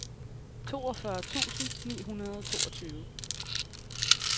toogfyrre tusind ni hundrede og toogtyve